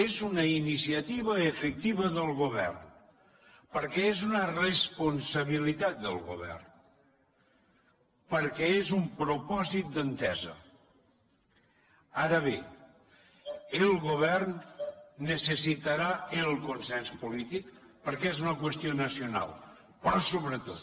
és una iniciativa efectiva del govern perquè és una responsabilitat del govern perquè és un propòsit d’entesa ara bé el govern necessitarà el consens polític perquè és una qüestió nacional però sobretot